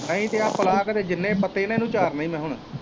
ਨਹੀਂ ਤੇ ਆ ਭਲਾ ਘਰ ਜਿੰਨੇ ਵੀ ਪੱਤੇ ਇੰਨੂ ਚਾਰਨੇ ਮੈ ਹੁਣ।